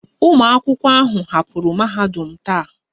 Ụmụ akwụkwọ ahụ hapụrụ mahadum taa